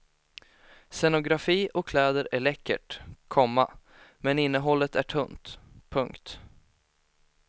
Scenografi och kläder är läckert, komma men innehållet är tunt. punkt